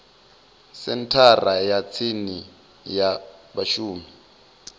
senthara ya tsini ya vhashumi